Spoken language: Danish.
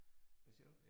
Hvad siger du?